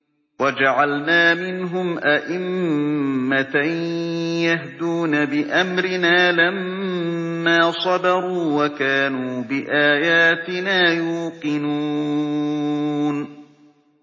وَجَعَلْنَا مِنْهُمْ أَئِمَّةً يَهْدُونَ بِأَمْرِنَا لَمَّا صَبَرُوا ۖ وَكَانُوا بِآيَاتِنَا يُوقِنُونَ